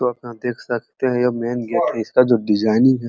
तो आप यहाँ देख सकते हैं ये मैन गेट है इसका जो डिजाइनिंग है --